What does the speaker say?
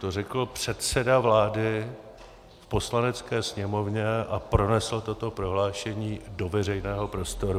To řekl předseda vlády v Poslanecké sněmovně a pronesl toto prohlášení do veřejného prostoru.